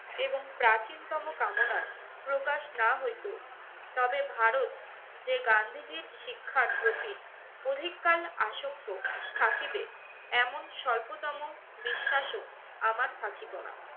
এবং প্রাচীন তম কামনার প্রকাশ না হইতো তবে ভারত যে গান্ধীজীর শিক্ষার প্রতি অধিককাল আসক্ত থাকিবে এমন স্বল্পতম বিশ্বাসও আমার থাকিত না।